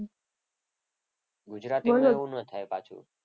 ગુજરાતીમાં ન થાય પાછું એવું.